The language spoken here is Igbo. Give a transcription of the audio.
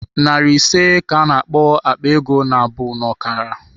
Nari ise ka a na-akpọ "Akpa ego nabụ n'ọkara"